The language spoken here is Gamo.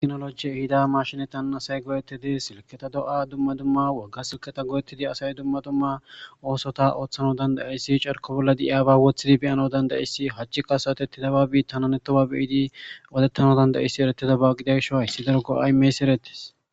Teknologi hida mashine tan asay goyettedi silketa do7a dumma dumma wagga silketa goyettidi asay dumma dumma oosota ooththana dandayissi carko bolla diiyaba wothidi beyana dandayissi hachchikka asawtetti daba biitananetoba biidi wodettana dandayissi eretedaba gidiagsho hssi daro go7aymeysi erettes.